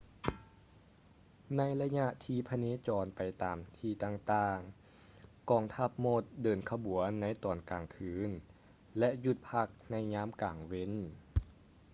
ໃນໄລຍະທີ່ພະເນຈອນໄປຕາມທີ່ຕ່າງໆ ກອງທັບມົດເດີນຂະບວນໃນຕອນກາງຄືນ ແລະ ຢຸດພັກໃນຍາມກາງເວັນ